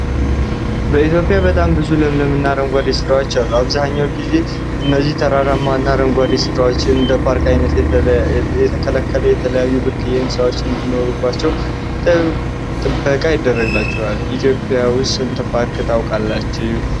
በኢትዮጵያ በጣም ብዙ ለምለም እና አረንጓዴ ስፍራዎች አሉ። አብዛኛውን ጊዜ እነዚህ ተራራማ እና አረንጓዴ ስፍራዎች እንደ ፓርክ አይነት ተከለለው የተለያዩ ብርቅዬ እንሰሳዎች እንዲኖሩባቸው ጥበቃ ይደረግባቸዋል። ኢትዮጵያ ውስጥ ስንት ፓርክ ታውቃላችሁ?